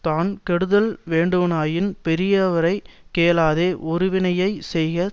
தான் கெடுதல் வேண்டுவனாயின் பெரியாரை கேளாதே ஒருவினையைச் செய்க